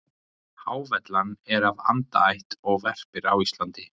Hávellan er af andaætt og verpir á Íslandi.